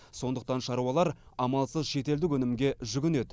сондықтан шаруалар амалсыз шетелдік өнімге жүгінеді